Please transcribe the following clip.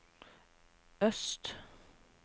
øst